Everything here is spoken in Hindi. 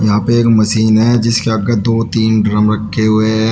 यहां पे एक मशीन है इसके आगे दो तीन ड्रम रखे हुए हैं।